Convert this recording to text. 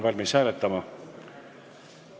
Palun!